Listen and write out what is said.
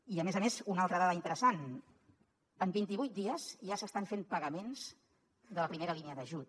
i a més a més una altra dada interessant en vint i vuit dies ja s’estan fent pagaments de la primera línia d’ajut